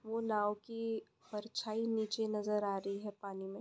वो नाव की परछाई नीचे नाजार आरही है पानी मे।